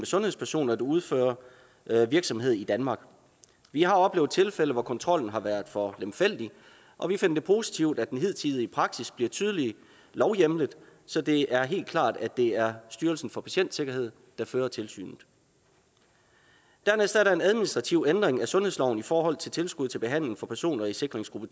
sundhedspersoner der udfører virksomhed i danmark vi har oplevet tilfælde hvor kontrollen har været for lemfældig og vi finder det positivt at den hidtidige praksis bliver tydeligt lovhjemlet så det er helt klart at det er styrelsen for patientsikkerhed der fører tilsynet dernæst er der en administrativ ændring af sundhedsloven i forhold til tilskud til behandling til personer i sikringsgruppe